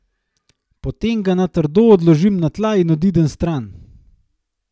Potem ga na trdo odložim na tla in odidem stran.